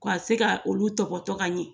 K' a se ka olu tɔbɔtɔ ka ɲɛ